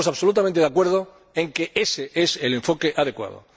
Estamos absolutamente de acuerdo en que ése es el enfoque adecuado.